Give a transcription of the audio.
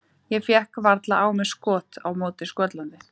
Ég fékk varla á mig skot á móti Skotlandi.